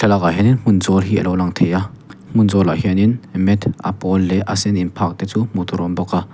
ah hianin hmun zawl hi alo lang thei a hmun zawl ah hianin mat a pawl leh a sen in phah te chu hmuh tur a awm bawk a.